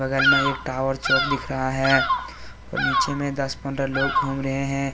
बगल में एक टॉवर चौक दिख रहा है और नीचे में दस पंद्रह लोग घूम रहे हैं।